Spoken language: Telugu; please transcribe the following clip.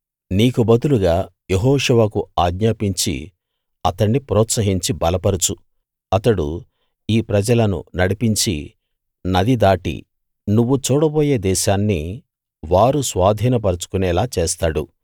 నీకు బదులుగా యెహోషువకు ఆజ్ఞాపించి అతణ్ణి ప్రోత్సహించి బలపరచు అతడు ఈ ప్రజలను నడిపించి నది దాటి నువ్వు చూడబోయే దేశాన్ని వారు స్వాధీనపరచుకొనేలా చేస్తాడు